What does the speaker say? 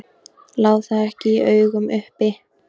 Lá það ekki í augum uppi?